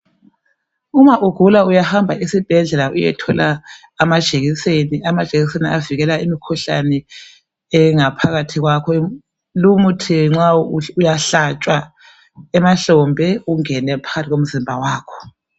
Uma ugula uyahamba esibhedlela uyethola amajekiseni. Amajekiseni avikela imikhuhlane engaphakathi kwakho, lumuthi uyahlatshwa emahlombe ungele phakathi komzimba wakho.